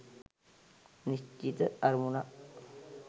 නිශ්චිත අරමුණක්